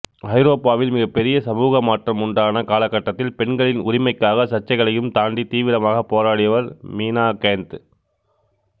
ஐரோப்பாவில் மிகப்பெரிய சமூக மாற்றம் உண்டான காலகட்டத்தில் பெண்களின் உரிமைக்காக சர்ச்சைகளையும் தாண்டி தீவிரமாக போராடியவர் மினா கேந்த்